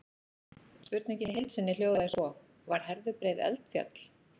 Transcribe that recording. Spurningin í heild sinni hljóðaði svo: Var Herðubreið eldfjall?